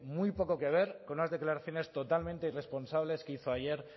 muy poco que ver con unas declaraciones totalmente irresponsables que hizo ayer